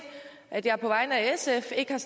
at jeg på vegne af sf ikke har